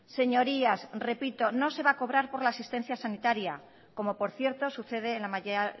señorías repito no se va a cobrar por la asistencia sanitaria como por cierto sucede en la mayoría